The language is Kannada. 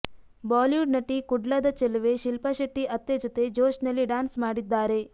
ಬಾಲಿವುಡ್ ನಟಿ ಕುಡ್ಲದ ಚೆಲುವೆ ಶಿಲ್ಪಾ ಶೆಟ್ಟಿ ಅತ್ತೆ ಜೊತೆ ಜೋಶ್ನಲ್ಲಿ ಡ್ಯಾನ್ಸ್ ಮಾಡಿದ್ದಾರೆ